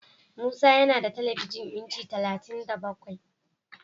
Musa yana da telebijin inci talatin da bakwai.